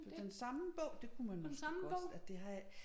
Med den samme bog det kunne man måske godt og det har jeg